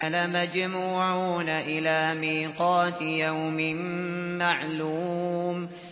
لَمَجْمُوعُونَ إِلَىٰ مِيقَاتِ يَوْمٍ مَّعْلُومٍ